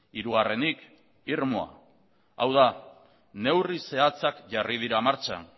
hirugarrenik irmoa hau da neurri zehatzak jarri dira martxan